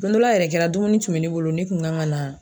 Don dɔ la yɛrɛ kɛra , dumuni tun bɛ ne bolo ne kun kan ka na.